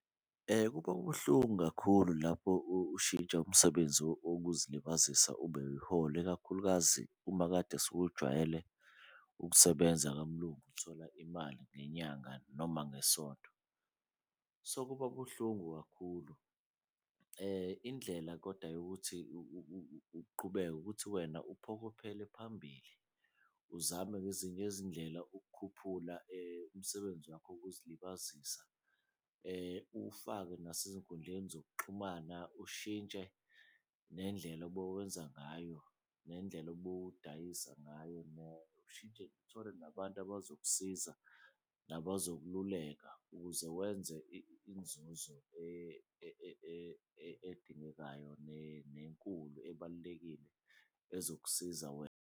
Ukuba ubuhlungu kakhulu lapho ushintsha umsebenzi wokuzilibazisa ube iholo, ikakhulukazi uma kade sewujwayele ukusebenza kaMlungu uthola imali ngenyanga noma ngesonto. So, kuba buhlungu kakhulu. Indlela koda yokuthi uqhubeke ukuthi wena uphokophele phambili uzame ngezinye izindlela ukukhuphula umsebenzi wakho wokuzilibazisa uwufake nasezinkundleni zokuxhumana. Ushintshe nendlela obewenza ngayo nendlela obudayisa ngayo uthole nabantu abazokusiza nabazokululeka ukuze wenze inzuzo edingekayo nenkulu ebalulekile ezokusiza wena.